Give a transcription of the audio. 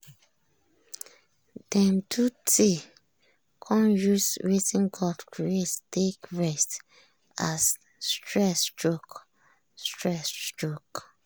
dem do tea con use wetin god create take rest as stress choke. stress choke.